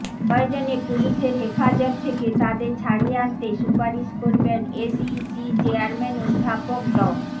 প্রয়োজনে পুলিশের হেফাজত থেকে তাদের ছাড়িয়ে আনতে সুপারিশ করবেন এসইসি চেয়ারম্যান অধ্যাপক ড